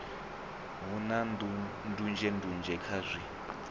hu na ndunzhendunzhe kha zwi